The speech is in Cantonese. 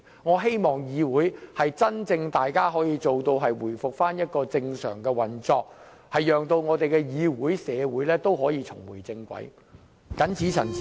我希望大家可以真正做到令議會回復正常的運作，讓議會、社會可以重回正軌，我謹此陳辭。